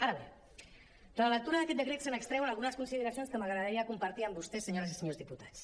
ara bé de la lectura d’aquest decret se n’extreuen algunes consideracions que m’agradaria compartir amb vostès senyores i senyors diputats